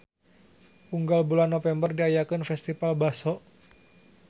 Unggal bulan Nopember diayakeun Festival Basho.